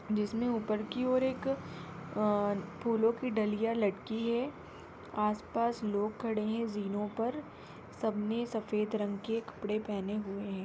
जिसमे ऊपर की और एक अ-अ फूलों की डलिया लटकी है आस पास लोग खड़े है जीणों पर सबने सफेद रंग के कपड़े पहने हुए है।